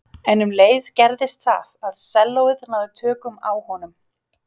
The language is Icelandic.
En um leið gerðist það að sellóið náði tökum á honum.